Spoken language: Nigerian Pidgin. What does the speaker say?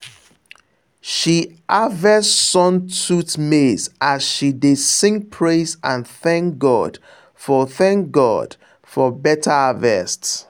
she harvest sun tooth maize as she dey sing praise and thank god for thank god for better harvest.